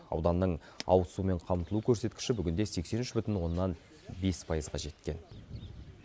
ауданның ауызсумен қамтылу көрсеткіші бүгінде сексен үш бүтін оннан бес пайызға жеткен